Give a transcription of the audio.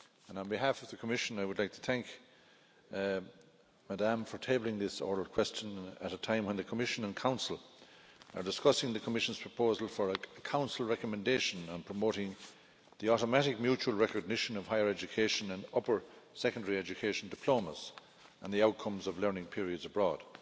On behalf of the Commission I would like to thank Ms Kammerevert for tabling this oral question at a time when the Commission and Council are discussing the Commission's proposal for a Council recommendation on promoting the automatic mutual recognition of higher education and upper secondary education diplomas, and the outcomes of learning periods abroad.